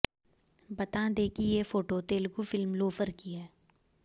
बता दें कि ये फोटो तेलुगू फिल्म लोफर की है